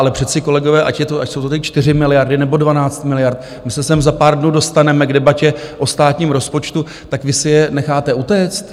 Ale přece kolegové, ať jsou to ty 4 miliardy, nebo 12 miliard, my se sem za pár dnů dostaneme k debatě o státním rozpočtu, tak vy si je necháte utéct?